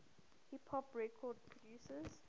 hip hop record producers